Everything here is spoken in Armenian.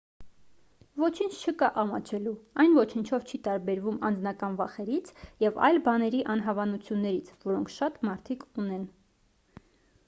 ոչինչ չկա ամաչելու այն ոչնչով չի տարբերվում անձնական վախերից և այլ բաների անհավանություններից որոնք շատ մարդիկ ունեն